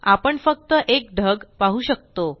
आपण फक्त एक ढग पाहू शकतो